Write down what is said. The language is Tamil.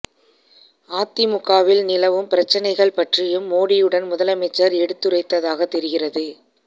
அதிமுகவில் நிலவும் பிரச்சனைகள் பற்றியும் மோடியுடன் முதலமைச்சர் எடுத்துரைத்ததாக தெரிகிறது